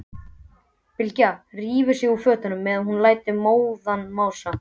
Bylgja rífur sig úr fötunum meðan hún lætur móðan mása.